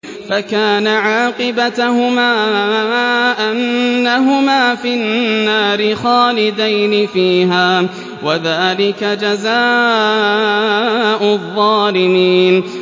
فَكَانَ عَاقِبَتَهُمَا أَنَّهُمَا فِي النَّارِ خَالِدَيْنِ فِيهَا ۚ وَذَٰلِكَ جَزَاءُ الظَّالِمِينَ